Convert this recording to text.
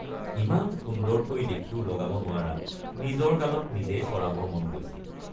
ইমান সুন্দৰকৈ দেখিও লগাব নোৱাৰাত নিজৰ গালত নিজেই চৰাবৰ মন গৈছিল।